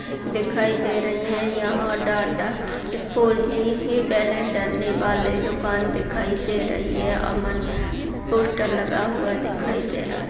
दिखाई दे रही हैं यहाँ डाटा फोर जी हैं बैलेंस डलने वाला दुकान दिखाई दे रही हैं अमन पोस्टर लगा हुआ दिखाई दे रहा हैं।